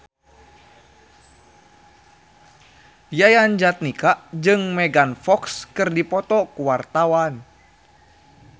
Yayan Jatnika jeung Megan Fox keur dipoto ku wartawan